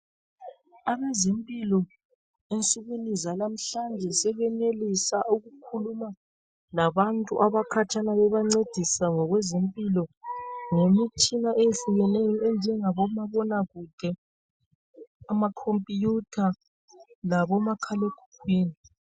Abezempilakahle ensukwini zanamhlanje sebenelisa ukukhuluma labantu abakhatshana bebancedisa ngokwezempilo ngemitshina eyehlukeneyo enjengabo mabonakude, amakhompuyutha labomakhalekhukhwini.